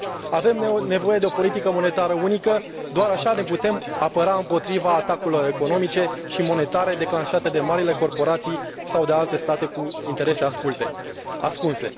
Avem nevoie de o politică monetară unică, doar așa ne putem apăra împotriva atacurilor economice și monetare declanșate de marile corporații sau de alte state cu interese ascunse.